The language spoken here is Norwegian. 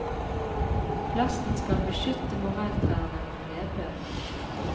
Plasten skal beskytte morelltrærne mot nedbør.